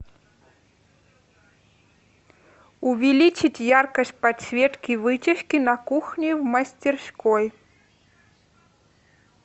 увеличить яркость подсветки вытяжки на кухне в мастерской